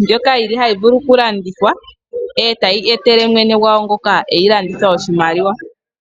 ndjoka yili hayi vulu okulandithwa tayi etele mwene gwawo ngoka eyi landitha oshimaliwa.